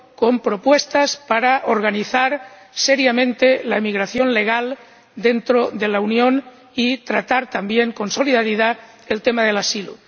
con propuestas para organizar seriamente la inmigración legal dentro de la Unión y tratar, también con solidaridad, el tema del asilo.